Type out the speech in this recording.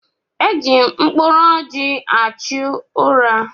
E ji mkpụrụ ọjị achụ ụra.